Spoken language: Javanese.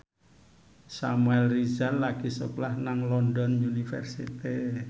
Samuel Rizal lagi sekolah nang London University